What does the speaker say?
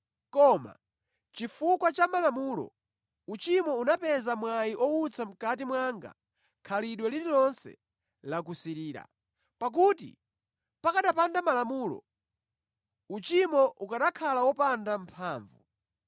Koma chifukwa cha Malamulo uchimo unapeza mwayi owutsa mʼkati mwanga khalidwe lililonse la kusirira. Pakuti pakanapanda Malamulo, uchimo ukanakhala wopanda mphamvu.